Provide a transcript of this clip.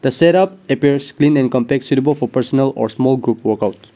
the setup appears clean and compact suitable for personal or small group workouts.